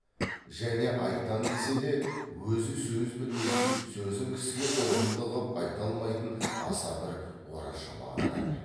және айтам десе де өзі сөз білмейтін сөзін кісіге ұғымды қып айта алмайтын аса бір орашолақ адам еді